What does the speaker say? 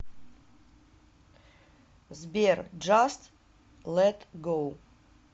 сбер джаст лет гоу